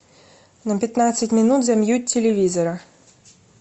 на пятнадцать минут замьють телевизора